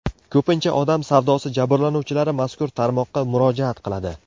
Ko‘pincha odam savdosi jabrlanuvchilari mazkur tarmoqqa murojaat qiladi.